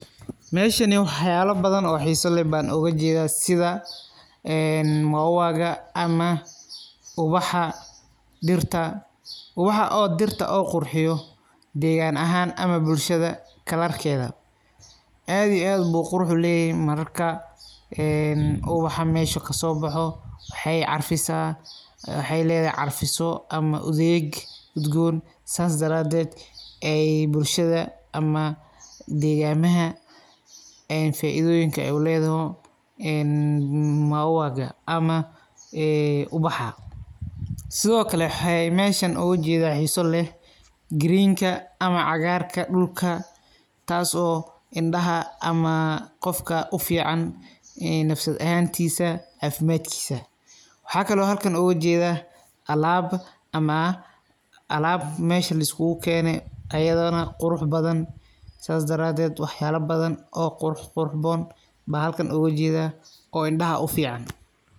Meeshani wax yaalo badan oo xiiso leh baan uga jeeda sida een mauaga ama bubaxa dhirta. Ubaxa oo dhirta oo qurxiyo deegaan ahan ama bulshada kalarkeeda aad iyo aadbu qurux uleeyahay marka ee ubaxa meesha kasoo baxo waxee carfisaa waxee leedahay carfiso ama udeeg udgoon saas daraateed ee bulshada ama deegamaha ee faaidooyinka uleedaho een mauawaga ama een ubaxa sido kale waxa meeshan uga jeeda xiiso leh greenka ama cagaarka dhulka taaso indhaha ama qofka ufiican ee nafsad ahaantiisa caafimaadkiisa waxa kalo halkaan uga jeeda alaab ama alaab meesha la iskugu keene ayadana qurux badan saas daraateed wax yaalo badan oo qurqurxoon baa halkaan uga jeeda oo indhaha ufiican.